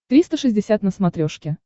триста шестьдесят на смотрешке